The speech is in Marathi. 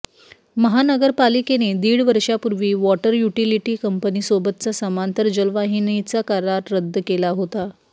महानगरपालिकेने दीड वर्षापूर्वी वॉटर युटिलिटी कंपनीसोबतचा समांतर जलवाहिनीचा करार रद्द केला होता